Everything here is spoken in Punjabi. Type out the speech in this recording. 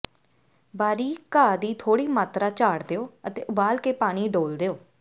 ਬਾਰੀਕ ਘਾਹ ਦੀ ਥੋੜ੍ਹੀ ਮਾਤਰਾ ਝਾੜ ਦਿਓ ਅਤੇ ਉਬਾਲ ਕੇ ਪਾਣੀ ਡੋਲ੍ਹ ਦਿਓ